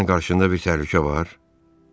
Sənin qarşında bir təhlükə var?